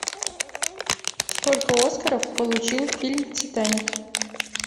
сколько оскаров получил фильм титаник